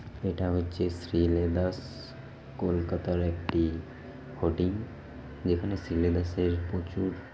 এটা হচ্ছে শ্রীলেদার্স -স কলকাতার একটি হোৰ্ডিং যেখানে শ্রীলেদার্স -এর প্রচুর।